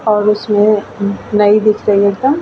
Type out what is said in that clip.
और उसमे नई दिख रही एकदम --